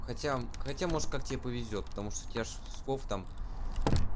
хотя хотя может как тебе повезёт потому что у тебя ж слов там